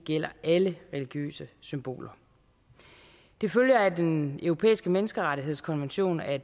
gælder alle religiøse symboler det følger af den europæiske menneskerettighedskonvention at